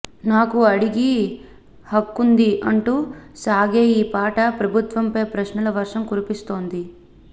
నాకు అడిగి హక్కుంది అంటూ సాగే ఈ పాట ప్రభుత్వంపై ప్రశ్నల వర్షం కురిపిస్తోంది